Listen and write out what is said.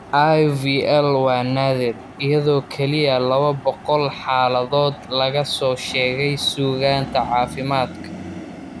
IVL waa naadir, iyadoo kaliya 200 xaaladood laga soo sheegay suugaanta caafimaadka.